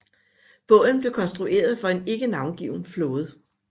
Båden blev konstrueret for en ikke navngiven flåde